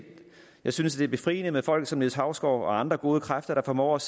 jeg synes at det er befriende med folk som niels hausgaard og andre gode kræfter der formår at